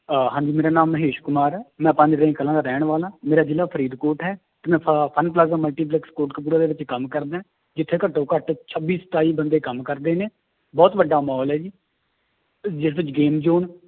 ਆਹ ਹਾਂਜੀ ਮੇਰਾ ਨਾਮ ਮਹੇਸ਼ ਕੁਮਾਰ ਹੈ, ਮੈਂ ਕਲਾਂ ਦਾ ਰਹਿਣ ਵਾਲਾ, ਮੇਰਾ ਜ਼ਿਲ੍ਹਾ ਫਰੀਦਕੋਟ ਹੈ ਤੇ ਮੈਂ ਸ ਪਲਾਜਾ ਮਲਟੀਪਲੈਕਸ ਕੋਟਕਪੁਰਾ ਦੇ ਵਿੱਚ ਕੰਮ ਕਰਦਾ ਹੈ ਜਿੱਥੇ ਘੱਟੋ ਘੱਟ ਛੱਬੀ ਸਤਾਈ ਬੰਦੇ ਕੰਮ ਕਰਦੇ ਨੇ ਬਹੁਤ ਵੱਡਾ ਮਾਲ ਹੈ ਜੀ ਜਿਸ ਵਿੱਚ game zone